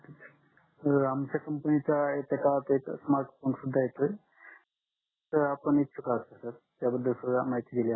sir आमच्या company चा smartphone सुद्धा येतोय आपण इच्छुक आहात का सर त्याबादल माहिती दिली असती